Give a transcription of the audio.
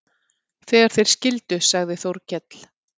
Þegar þeir skildu sagði Þórkell